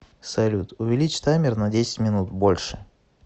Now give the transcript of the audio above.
салют увеличь таймер на десять минут больше